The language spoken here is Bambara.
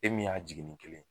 E min y'a jiginni kelen ye